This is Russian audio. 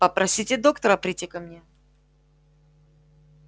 попросите доктора прийти ко мне